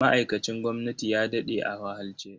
Ma'aikacin gwamnati ya daɗe a wahalce.